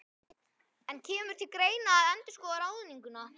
En kemur til greina að endurskoða ráðninguna?